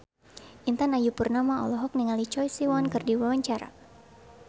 Intan Ayu Purnama olohok ningali Choi Siwon keur diwawancara